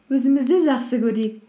өзімізді жақсы көрейік